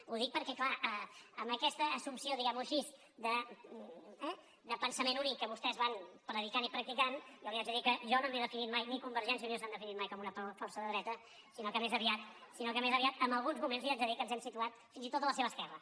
ho dic perquè clar amb aquesta assumpció diguem ho així eh de pensament únic que vostès van predicant i practicant jo li haig de dir que jo no m’he definit mai ni convergència i unió s’han definit mai com una força de dreta sinó que més aviat en alguns moments li haig de dir que ens hem situat fins i tot a la seva esquerra